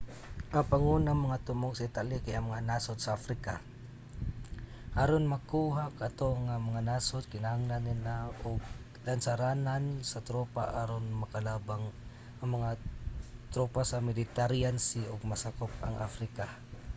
ang pangunang mga tumong sa italy kay ang mga nasod sa africa. aron makuha kato nga mga nasod kinahanglan nila og lansaranan sa tropa aron makalabang ang mga tropa sa mediterranean sea ug masakop ang africa